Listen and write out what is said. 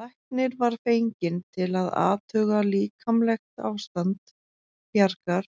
Læknir var fenginn til að athuga líkamlegt ástand Bjargar